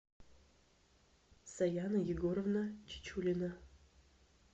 саяна егоровна чичулина